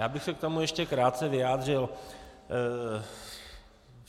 Já bych se k tomu ještě krátce vyjádřil.